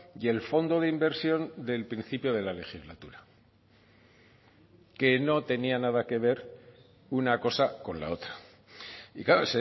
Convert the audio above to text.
y el fondo de inversión del principio de la legislatura que no tenía nada que ver una cosa con la otra y claro